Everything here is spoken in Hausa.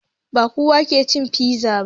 Ba kowa ke cin fiza ba.